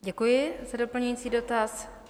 Děkuji za doplňující dotaz.